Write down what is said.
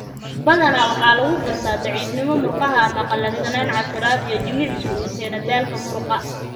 Badanaa waxaa lagu gartaa daciifnimo murqaha ama qallafsanaan, casiraad, iyo jimicsi uu keeno daalka muruqa.